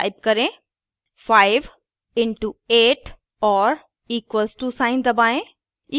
type करें 5 * into 8 और equals to sign दबाएं